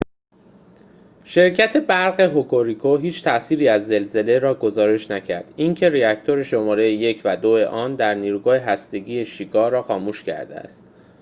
شرکت برق هوکوریکو هیچ تاثیری از زلزله را گزارش نکرد اینکه راکتور شماره ۱ و ۲ آن در نیروگاه هسته ای شیکا را خاموش کرده است